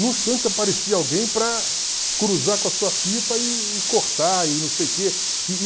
Num instante aparecia alguém para cruzar com a sua pipa e cortar e não sei o quê.